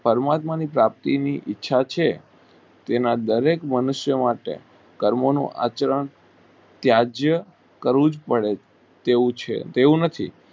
ક્રમ કરવા મા ઇચ્છા છે તેના દરેક મનુષ્યો માટે કર્મ નું આચરણ ત્યાજ્ય કરવું પડે એવું છે તેવું નથી.